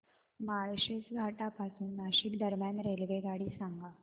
माळशेज घाटा पासून नाशिक दरम्यान रेल्वेगाडी सांगा